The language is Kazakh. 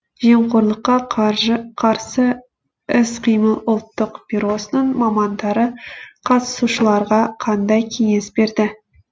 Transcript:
сыбайлас жемқорлыққа қарсы іс қимыл ұлттық бюросының мамандары қатысушыларға қандай кеңес берді